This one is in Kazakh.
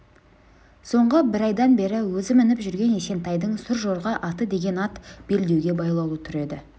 соңғы бір айдан бері өзі мініп жүрген есентайдың сұржорға аты деген ат белдеуде байлаулы тұр еді